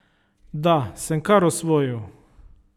Da, sem kar osvojil.